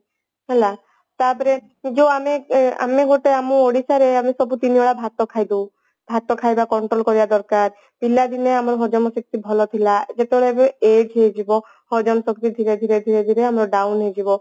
ହେଲା ତାପରେ ସେ ଯୋଉ ଆମେ ଆମେ ଗୋଟେ ଆମ ଓଡିଶାରେ ଆମେ ସବୁଦିନ ଭାତ ଖାଇଦଉ ଭାତ ଖାଇବା control କରିବା ଦରକାର ପିଲାଦିନେ ଆମ ଭୋଜନ ଶକ୍ତି ଭଲ ଥିଲା ଯେତେବେଳେ ଏବେ age ହେଇଯିବ ହଜମ ଶକ୍ତି ଧୀରେ ଧୀରେ ଧୀରେ ଧୀରେ ଆମର down ହେଇଯିବ